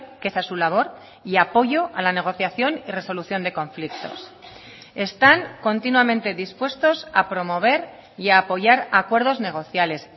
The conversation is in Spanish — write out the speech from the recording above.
que esa es su labor y apoyo a la negociación y resolución de conflictos están continuamente dispuestos a promover y a apoyar acuerdos negociales